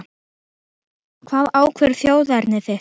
Hvað ákveður þjóðerni þitt?